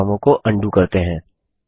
चलिए बदलावों को अन्डू करते हैं